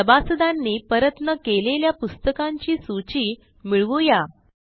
सभासदांनी परत न केलेल्या पुस्तकांची सूची मिळवू या